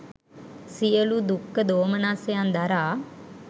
සියලු දුක්ඛ දෝමනස්සයන් දරා